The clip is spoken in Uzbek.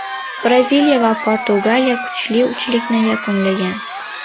Braziliya va Portugaliya kuchli uchlikni yakunlagan.